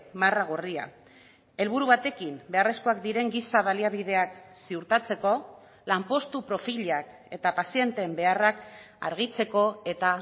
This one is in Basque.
marra gorria helburu batekin beharrezkoak diren giza baliabideak ziurtatzeko lanpostu profilak eta pazienteen beharrak argitzeko eta